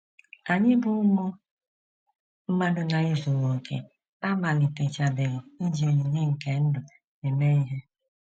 Anyị bụ́ ụmụ mmadụ na - ezughị okè amalitechabeghị iji onyinye nke ndụ eme ihe.